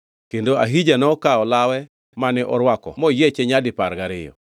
kendo Ahija nokawo law mane orwako moyieche nyadipar gariyo.